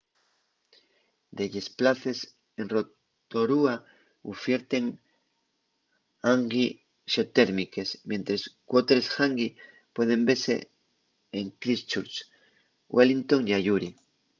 delles places en rotorua ufierten hangi xeotérmiques mientres qu’otres hangi pueden vese en christchurch wellingotn y ayuri